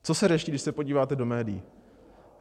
Co se řeší, když se podíváte do médií?